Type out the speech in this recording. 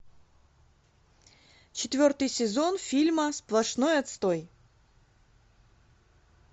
четвертый сезон фильма сплошной отстой